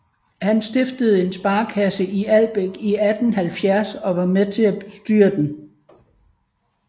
Han stiftede en sparekasse i Albæk i 1870 og var med til at bestyre den